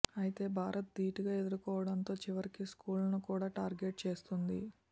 ఐతే భారత్ ధీటుగా ఎదుర్కోవడంతో చివరికీ స్కూళ్లను కూడా టార్గెట్ చేస్తోంది